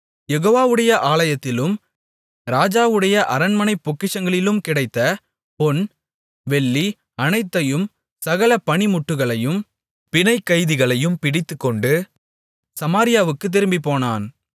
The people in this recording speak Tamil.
யெகோவாவுடைய ஆலயத்திலும் ராஜாவுடைய அரண்மனைப் பொக்கிஷங்களிலும் கிடைத்த பொன் வெள்ளி அனைத்தையும் சகல பணிமுட்டுகளையும் பிணைக்கைதிகளையும் பிடித்துக்கொண்டு சமாரியாவுக்குத் திரும்பிப்போனான்